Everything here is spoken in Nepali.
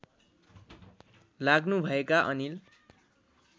लाग्नुभएका अनिल